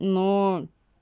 но